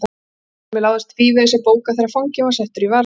SKÚLI: Mér láðist tvívegis að bóka þegar fanginn var settur í varðhald.